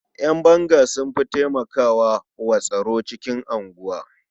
Ƴan banga sun fi taimakwa wa tsaro cikin unguwa.